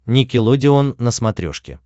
никелодеон на смотрешке